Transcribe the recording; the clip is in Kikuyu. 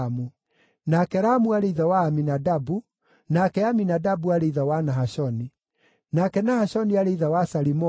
nake Ramu aarĩ ithe wa Aminadabu, nake Aminadabu aarĩ ithe wa Nahashoni, nake Nahashoni aarĩ ithe wa Salimoni,